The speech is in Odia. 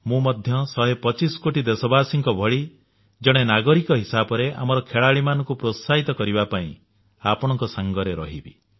ମୁ ମଧ୍ୟ ଶହେ ପଚିଶ କୋଟି ଦେଶବାସୀଙ୍କ ଭଳି ଜଣେ ନାଗରିକ ହିସାବରେ ଆମର ଖେଳାଳିମାନଙ୍କୁ ପ୍ରୋତ୍ସାହିତ କରିବା ପାଇଁ ଆପଣଙ୍କ ସାଙ୍ଗରେ ରହିବି